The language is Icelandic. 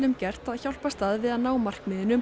gert að hjálpast að við að ná markmiðinu um